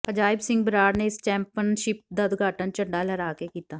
ਅਜਾਇਬ ਸਿੰਘ ਬਰਾੜ ਨੇ ਇਸ ਚੈਂਪੀਅਨਸਿਪ ਦਾ ਉਦਘਾਟਨ ਝੰਡਾ ਲਹਿਰਾ ਕੇ ਕੀਤਾ